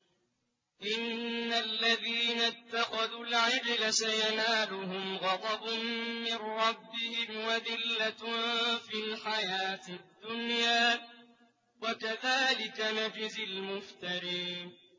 إِنَّ الَّذِينَ اتَّخَذُوا الْعِجْلَ سَيَنَالُهُمْ غَضَبٌ مِّن رَّبِّهِمْ وَذِلَّةٌ فِي الْحَيَاةِ الدُّنْيَا ۚ وَكَذَٰلِكَ نَجْزِي الْمُفْتَرِينَ